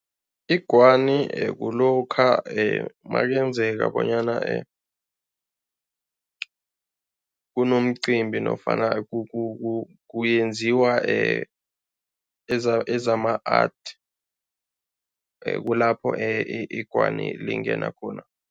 Igwani kulokha makenzeka bonyana kunomcimbi nofana kuyenziwa ezama-art kulapho igwani lingena khona.